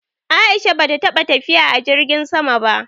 A'isha bata taɓa tafiya a jirgin sama ba.